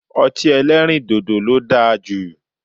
Ọti ẹlẹrindodo lo daa ju